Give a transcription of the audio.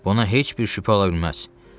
Buna heç bir şübhə ola bilməz.